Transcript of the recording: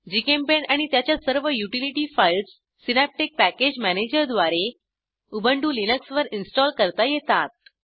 GChemPaint आणि त्याच्या सर्व युटिलिटी फाईल्स सिनॅप्टिक पॅकेज मॅनेजरद्वारे उबंटु लिनक्सवर इन्स्टॉल करता येतात